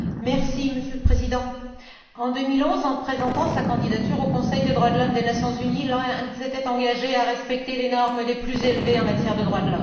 Monsieur le Président, en 2011, en présentant sa candidature au Conseil des droits de l'homme des Nations unies, l'Inde s'était engagée à respecter les normes les plus élevées en matière de droits de l'homme.